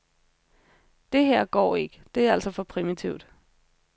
Det her går ikke, det er altså for primitivt.